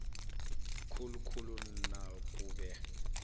khulu khulu nakube